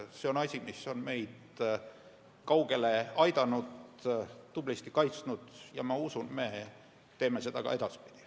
See on asi, mis on meid kaugele aidanud, tublisti kaitsnud, ja ma usun, et me teeme seda ka edaspidi.